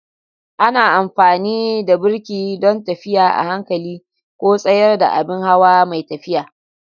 Ana amfani da birki don tafiya a hankali ko tsayar da abin hawa mai tafiya.